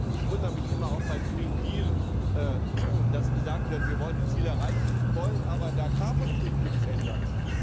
Ich wundere mich immer auch beim Green Deal dass gesagt wird Wir wollen die Ziele erreichen, wollen aber in der Agrarpolitik nichts ändern.